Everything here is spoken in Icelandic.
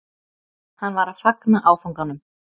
Hann var að fagna áfanganum